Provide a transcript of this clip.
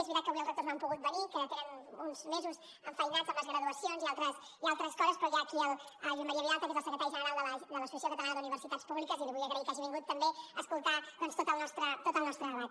és veritat que avui els rectors no han pogut venir que tenen uns mesos enfeinats amb les graduacions i altres coses però hi ha aquí el josep maria vilalta que és el secretari general de l’associació catalana d’universitats públiques i li vull agrair que hagi vingut també a escoltar tot el nostre debat